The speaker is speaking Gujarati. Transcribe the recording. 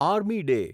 army day